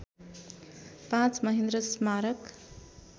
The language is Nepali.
५ महेन्द्र स्मारक